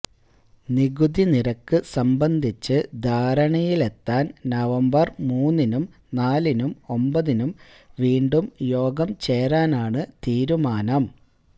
നികുതിനിരക്ക് സംബന്ധിച്ച് ധാരണയിലെത്താൻ നവംബർ മൂന്നിനും നാലിനും ഒമ്പതിനും വീണ്ടും യോഗം ചേരാനാണ് തീരുമാനം